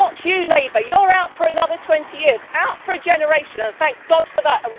Not you, Labour, you are out for another 20 years, out for a generation, and thank God for